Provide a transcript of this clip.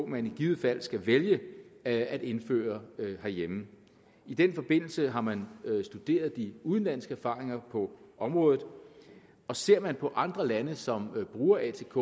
man i givet fald skal vælge at at indføre herhjemme i den forbindelse har man studeret de udenlandske erfaringer på området og ser man på andre lande som bruger atk